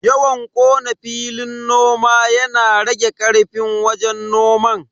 Yawan kona filin noma yana rage karfin wajen noman.